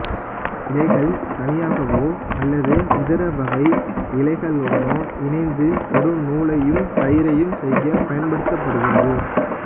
இழைகள் தனியாகவோ அல்லது இதர வகை இழைகளுடனோ இணைத்து கடுநூலையும் கயிறையும் செய்யப் பயன்படுத்தப்படுகிறது